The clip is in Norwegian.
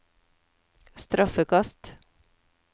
straffekast